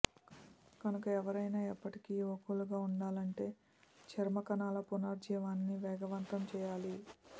కనుక ఎవరైనా ఎప్పటికి యువకులుగా వుండాలంటే చర్మ కణాల పునరుజ్జీవాన్ని వేగవంతం చేయాలి